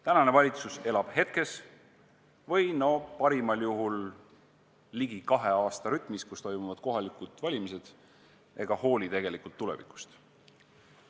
Tänane valitsus elab hetkes või parimal juhul ligi kahe aasta rütmis, kui toimuvad kohalikud valimised, ega hooli tegelikult tulevikust.